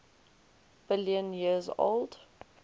billion years old